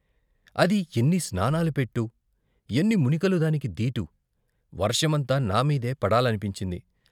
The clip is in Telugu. అది ఎన్ని స్నానాల పెట్టు ! ఎన్ని మునికలు దానికి దీటు. వర్షమంతా నామీదే పడాలనిపించింది.